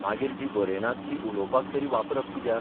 मागीर जी बरयनात ती उलोवपाक तरी बापरप कित्याक?